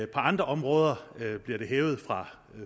på andre områder bliver det hævet fra